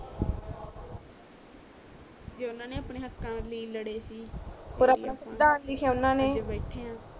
ਜੋ ਉਨ੍ਹਾਂ ਨੇ ਅਪਣੇ ਹੱਕਾਂ ਲੀਯੇ ਲੜੇ ਸੀ ਔਰ ਤਾਵੀ ਆਪ ਬੈਠੇ ਆ ਔਰ ਆਪਣਾ ਸਿਵਿਧਾਨ ਉਨ੍ਹਾਂ ਨੇ